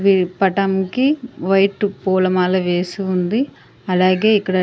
వీరి పటం కి వైటు పూలమాల వేసి ఉంది. అలాగే ఇక్కడ --